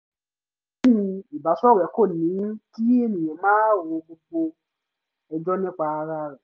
yin ìbáṣọ̀rẹ́ kò ní kí èèyàn máa ro gbogbo ẹjọ́ nípa ara rẹ̀